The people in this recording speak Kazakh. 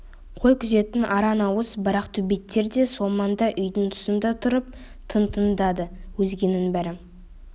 қой күзететін аран ауыз барақ төбеттер де сол маңда үйдің тұсында тұрып тың тыңдады өзгенің бәрі